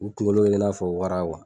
U kunkolo be kɛ i n'a fɔ wara